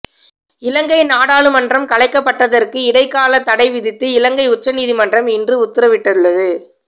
இலங்கை நாடாளுமன்றம் கலைக்கப்பட்டதற்கு இடைக்கால தடை விதித்து இலங்கை உச்சநீதிமன்றம் இன்று உத்தரவிட்டுள்ளது